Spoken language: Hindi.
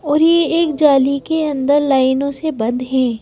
और ये एक जाली के अंदर लाइनों से बंद हैं।